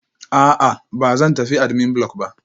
A'a, ba zan tafi admin block ba